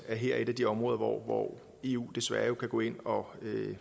at her er et af de områder hvor eu desværre kan gå ind og